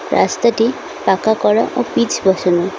রাস্তাটি পাকা করা ও পিচ বসানো।